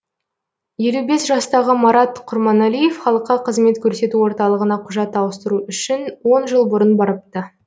елу бес жастағы марат құрманалиев халыққа қызмет көрсету орталығына құжат ауыстыру үшін он жыл бұрын барыпты